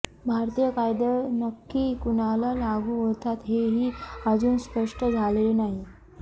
भारतीय कायदे नक्की कुणाला लागू होतात हे ही अजून स्पष्ट झालेले नाही